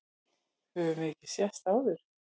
Höfum við ekki sést áður?